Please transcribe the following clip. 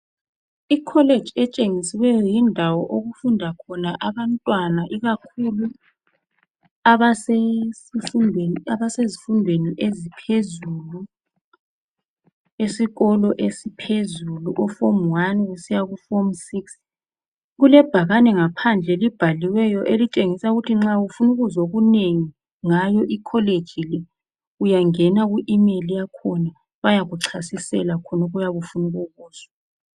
i college etshengisiweyo yindawo okufunda khona abantwana ikakhulu abasezifundweni eziphezulu esikolo esiphezulu o form 1 kusiya ku form 6 kulebhakane ngaphandle elibhaliweyo elitshengisa ukuthi nxa ufuna ukuzwa okunengi ngayo i college le uyangena ku email yakhona bayakuchasisela khonokhu oyabe ufuna ukukuzwa